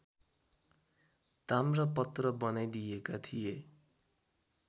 ताम्रपत्र बनाइदिएका थिए